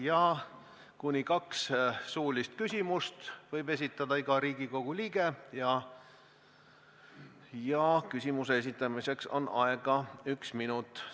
Iga Riigikogu liige võib esitada kuni kaks suulist küsimust ja küsimuse esitamiseks on aega üks minut.